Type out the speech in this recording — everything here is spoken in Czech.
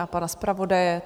A pana zpravodaje?